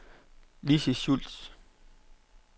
Lizzi Schultz